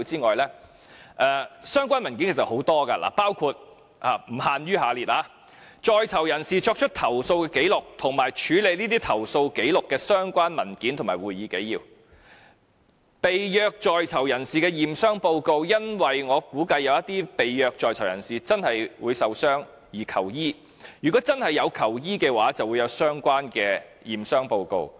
而相關的文件其實也有很多，包括：在囚人士作出投訴的紀綠及處理這些投訴紀錄的相關文件和會議紀要，以及被虐在囚人士的驗傷報告，因為我估計有些被虐在囚人士真的會受傷而求醫，如果他們真的有求醫，便會有相關的驗傷報告。